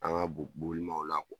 An ka bo boli kɔ